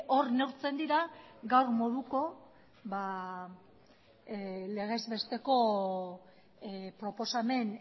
hor neurtzen dira gaur moduko legez besteko proposamen